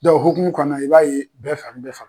Dɔnku o hukumu kɔnɔnana i b'a ye bɛɛ fari nin n bɛ faga